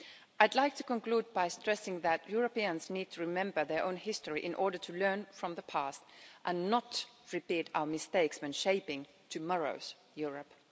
I'd like to conclude by stressing that Europeans need to remember their own history in order to learn from the past and not repeat our mistakes when shaping tomorrow's Europe.